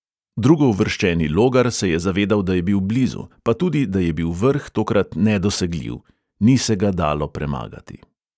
Drugouvrščeni logar se je zavedal, da je bil blizu, pa tudi, da je bil vrh tokrat nedosegljiv: ni se ga dalo premagati.